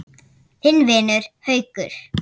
Þinn vinur, Haukur.